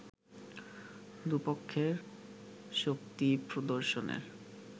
দু’পক্ষের শক্তি প্রদর্শনের